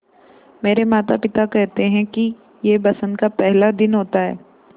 मेरे माता पिता केहेते है कि यह बसंत का पेहला दिन होता हैँ